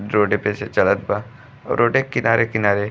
जोडे पे से चलत बा। रोडे के किनारे-किनारे --